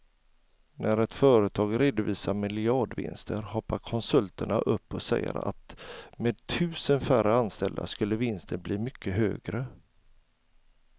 När ett företag redovisar miljardvinster hoppar konsulterna upp och säger att med tusen färre anställda skulle vinsten bli mycket högre.